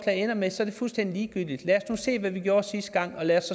ender med er det fuldstændig ligegyldigt lad os nu se hvad vi gjorde sidste gang og lad os